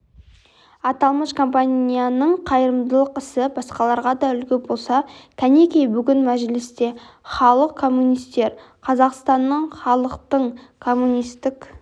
аталмыш компанияның қайырымдылық ісі басқаларға да үлгі болса кәнекей бүгін мәжілісте халық коммунистері қазақстанның халықтың коммунистік